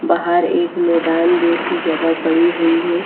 बाहर एक मैदान जैसी जगह पड़ी हुई है।